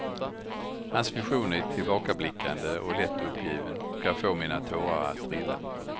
Hans vision är tillbakablickande och lätt uppgiven och kan få mina tårar att trilla.